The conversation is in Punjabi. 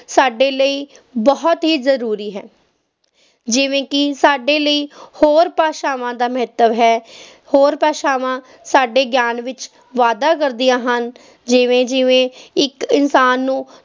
ਸਾਡੇ ਲਈ ਬਹੁਤ ਹੀ ਜ਼ਰੂਰੀ ਹੈ, ਜਿਵੇਂ ਕਿ ਸਾਡੇ ਲਈ ਹੋਰ ਭਾਸ਼ਾਵਾਂ ਦਾ ਮਹੱਤਵ ਹੈ ਹੋਰ ਭਾਸ਼ਾਵਾਂ ਸਾਡੇ ਗਿਆਨ ਵਿੱਚ ਵਾਧਾ ਕਰਦੀਆਂ ਹਨ, ਜਿਵੇਂ ਜਿਵੇਂ ਇੱਕ ਇਨਸਾਨ ਨੂੰ